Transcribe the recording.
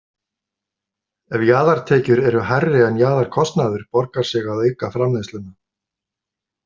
Ef jaðartekjur eru hærri en jaðarkostnaður borgar sig að auka framleiðsluna.